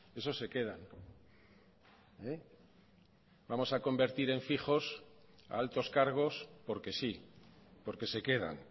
esos se quedan vamos a convertir en fijos a altos cargos porque sí porque se quedan